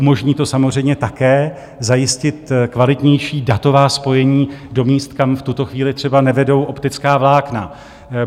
Umožní to samozřejmě také zajistit kvalitnější datová spojení do míst, kam v tuto chvíli třeba nevedou optická vlákna.